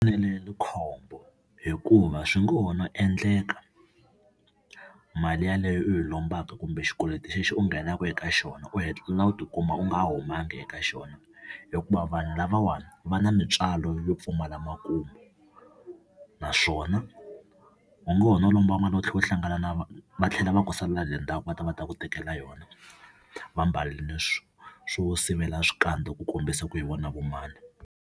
khombo hikuva swi ngo ho no endleka mali yaleyo u yi lombaka kumbe xikweleti xexo u nghenaka eka xona u hetelela u tikuma u nga humangi eka xona, hikuva vanhu lavawani va na mitswalo yo pfumala makumu. Naswona o ngo ho no lomba, va tlhela va hlangana na va tlhela va ku sala hile ndzhaku va ta va ta ku tekela yona va mbarile swo swo sivela swikandza ku kombisa ku hi vona vo mani.